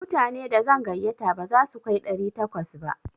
Mutane da zan gayyata ba za su kai ɗari takwas ba.